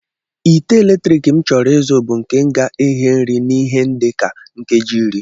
Ite eletrik m chọrọ izu bụ nke ga-eghe nri n'ihe dị ka nkeji iri